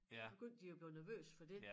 Så begyndte de at blive nervøse for det